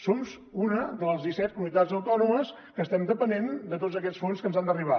som una de les disset comunitats autònomes que estem depenent de tots aquests fons que ens han d’arribar